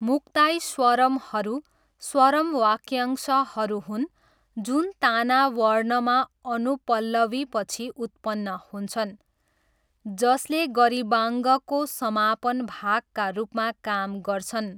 मुक्ताई स्वरमहरू स्वरम वाक्यांशहरू हुन् जुन ताना वर्णमा अनुपल्लवीपछि उत्पन्न हुन्छन्, जसले गरिबाङ्गको समापन भागका रूपमा काम गर्छन्।